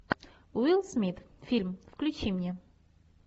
уилл смит фильм включи мне